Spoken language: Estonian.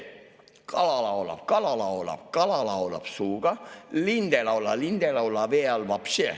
Kala laulab, kala laulab, kala laulab suuga, lind ei laula, lind ei laula vee all voobštše.